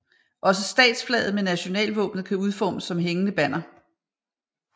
Også statsflaget med nationalvåbenet kan udformes som hængende banner